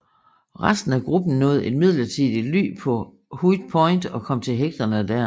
Resten af gruppen nåede et midlertidigt ly på Hut Point og kom til hægterne der